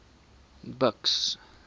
buks